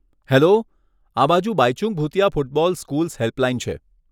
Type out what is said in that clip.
Hello, આ બાજુ Bhaichung Bhutia football schools helpline છે.